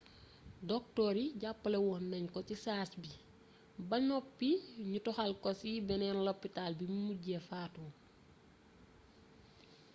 doktoor yi jàppale woon nañ ko ci saasi ba noppi ñu toxal ko ci beneen lopitaal bimu mujj fatoo